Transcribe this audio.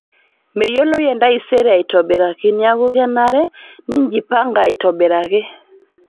Meyioloi entasare aitobiraki, neeku kenare ninjipanga aitobiraki